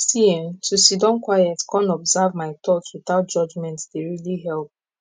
see eh to siddon quiet con observe my thoughts without judgment dey really help